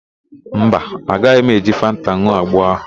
Mba, agaghị m eji fanta n̄ụọ agbo ahụ.